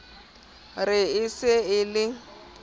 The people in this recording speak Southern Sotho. re e se e le